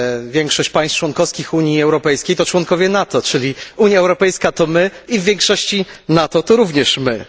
Większość państw członkowskich Unii Europejskiej to członkowie NATO, czyli Unia Europejska to my i w większości NATO to również my.